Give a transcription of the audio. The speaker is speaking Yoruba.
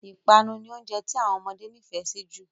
Ìpanu ni oúnjẹ tí àwọn ọmọdé nifẹ si jù